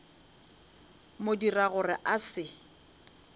mo dira gore a se